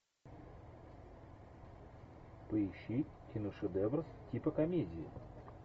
поищи киношедевр типа комедии